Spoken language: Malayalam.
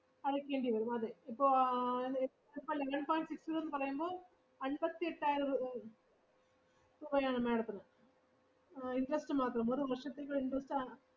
അടക്കേണ്ടി വരും, അതേ. ഇപ്പോ ആഹ് ഇ~ ഇപ്പോ eleven point six zero ന്ന് പറയുമ്പോ അമ്പത്തി എട്ടായിരം രൂ~ രൂപയാണ് madam ത്തിന് interest മാത്രം, ഒരു വർഷത്തേക്കുള്ള interest അ~